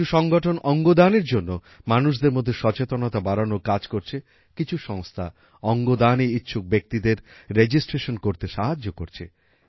কিছু সংগঠন অঙ্গদানের জন্য মানুষদের মধ্যে সচেতনতা বাড়ানোর কাজ করছে কিছু সংস্থা অঙ্গদানে ইচ্ছুক ব্যাক্তিদের রেজিস্ট্রেশন করতে সাহায্য করছে